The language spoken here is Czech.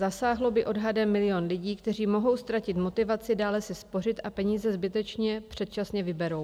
Zasáhlo by odhadem milion lidí, kteří mohou ztratit motivaci dále si spořit a peníze zbytečně předčasně vyberou.